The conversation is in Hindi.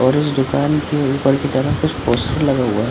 और उस दुकान के ऊपर की तरफ कुछ पोस्टर लगा हुआ है ।